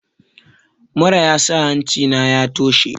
Mura yasa hancina ya toshe.